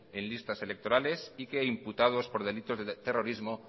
en listas electorales y que imputados por delitos de terrorismo